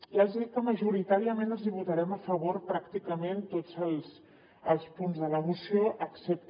ja els hi dic que majoritàriament els hi votarem a favor pràcticament tots els punts de la moció excepte